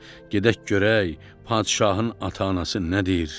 Gedək görək padşahın ata-anası nədir?